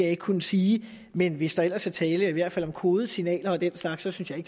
ikke kunne sige men hvis der ellers er tale om i hvert fald kodede signaler og den slags så synes jeg